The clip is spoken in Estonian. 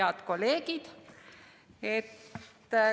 Head kolleegid!